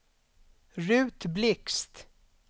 Ruth Blixt